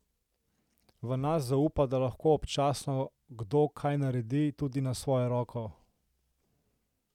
V nas zaupa, da lahko občasno kdo kaj naredi tudi na svojo roko.